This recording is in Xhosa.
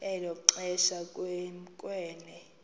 elo xesha kwamkelwe